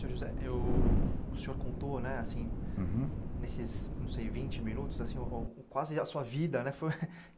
José, eu o senhor contou né assim, uhum, nesses, não sei, vinte minutos quase a sua vida. Foi